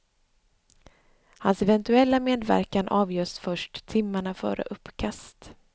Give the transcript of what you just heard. Hans eventuella medverkan avgörs först timmarna före uppkast.